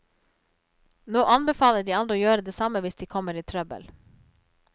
Nå anbefaler de andre å gjøre det samme hvis de kommer i trøbbel.